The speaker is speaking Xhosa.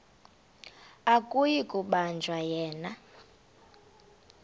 akuyi kubanjwa yena